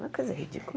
Uma coisa ridícula.